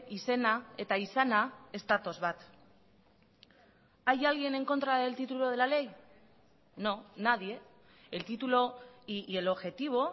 izena eta izana ez datoz bat hay alguien en contra del título de la ley no nadie el título y el objetivo